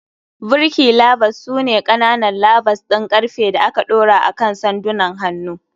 Birki levers su ne ƙananan levers ɗin ƙarfe da aka ɗora akan sandunan hannu.